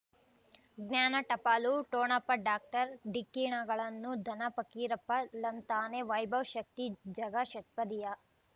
ಜ್ಞಾನ ಟಪಾಲು ಠೊಣಪ ಡಾಕ್ಟರ್ ಢಿಕ್ಕಿ ಣಗಳನು ಧನ ಫಕೀರಪ್ಪ ಳಂತಾನೆ ವೈಭವ್ ಶಕ್ತಿ ಝಗಾ ಷಟ್ಪದಿಯ